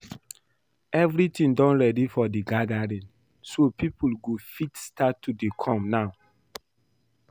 Everything don ready for the gathering so people go fit start to dey come now